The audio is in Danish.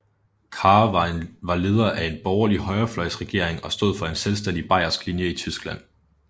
Kahr var leder af en borgerlig højrefløjsregering og stod for en selvstændig bayersk linje i Tyskland